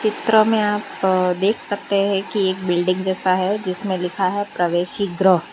क्रम आप देख सकते है कि एक बिल्डिंग जैसा है जिसमें लिखा है प्रवेसी ग्रा।